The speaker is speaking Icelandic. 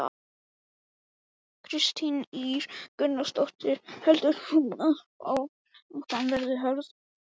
Kristín Ýr Gunnarsdóttir: Heldur þú að baráttan verði hörð?